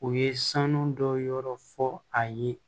U ye sanu dɔ yɔrɔ fɔ a ye